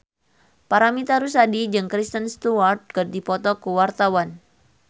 Paramitha Rusady jeung Kristen Stewart keur dipoto ku wartawan